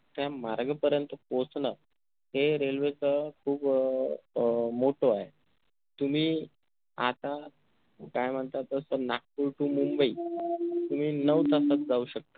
त्या मार्ग पर्यंत पोहचणं हे railway च खूप अह मोठं आहे तुम्ही आता काई म्हणता तस नागपूर to मुंबई तुम्ही नऊ तासात जाऊ शकता